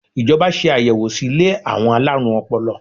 Ìjọba ṣe ayẹwo sí ilé àwọn alárùn ọpọlọ.